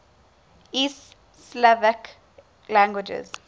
east slavic languages